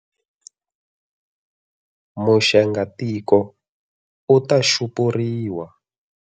Muxengatiko u ta xupuriwa.